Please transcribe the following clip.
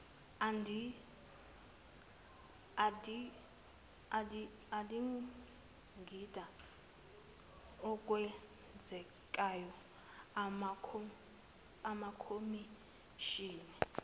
adingida okwenzekayo amakhomishani